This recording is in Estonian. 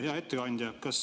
Hea ettekandja!